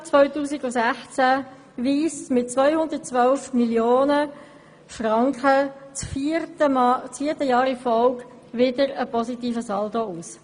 Das Geschäftsjahr 2016 weist mit 212 Mio. Franken das vierte Jahr in Folge einen positiven Saldo aus.